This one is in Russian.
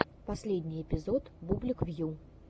последний эпизод бублик вью